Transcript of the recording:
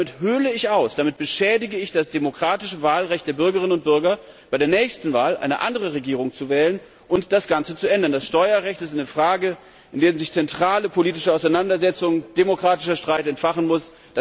Damit höhle ich aus, damit beschädige ich das demokratische Wahlrecht der Bürgerinnen und Bürger, bei der nächsten Wahl eine andere Regierung zu wählen und das Ganze zu ändern. Das Steuerrecht ist eine Frage, in der sich zentrale politische Auseinandersetzung, demokratischer Streit entfachen muss.